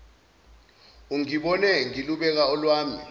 ungibone ngilubeka olwami